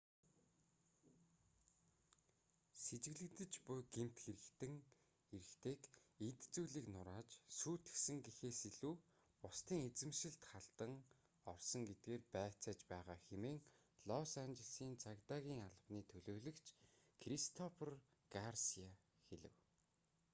сэжиглэгдэж буй гэмт хэрэгтэн эрэгтэйг эд зүйлийг нурааж сүйтгэсэн гэхээс илүү бусдын эзэмшилд халдан орсон гэдгээр байцааж байгаа хэмээн лос анжелесийн цагдаагийн албаны төлөөлөгч кристофер гарсиа хэлэв